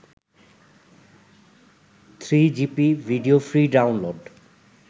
3gp video free download